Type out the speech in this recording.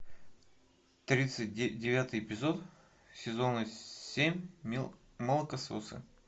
тридцать девятый эпизод сезона семь молокососы